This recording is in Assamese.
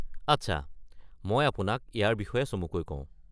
আচ্ছা, মই আপোনাক ইয়াৰ বিষয়ে চমুকৈ কওঁ।